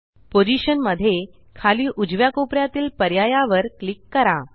position मध्ये खाली उजव्या कोपऱ्यातील पर्यायावर क्लिक करा